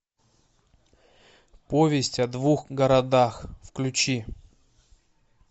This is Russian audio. повесть о двух городах включи